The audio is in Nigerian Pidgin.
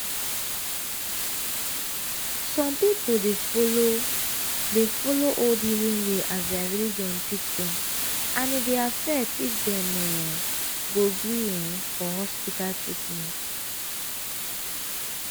some people dey follow dey follow old healing way as their religion teach dem and e dey affect if dem um go gree um for hospital treatment.